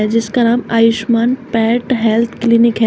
जिसका नाम Ayushman pet health clinic है।